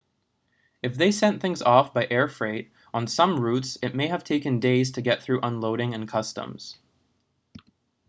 if they sent things by air freight on some routes it may have taken days to get through unloading and customs